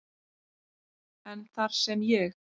en þar sem ég